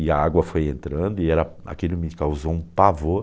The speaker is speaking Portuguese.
E a água foi entrando e era, aquilo me causou um pavor.